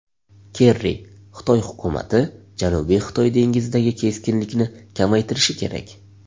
Kerri: Xitoy hukumati Janubiy Xitoy dengizidagi keskinlikni kamaytirishi kerak.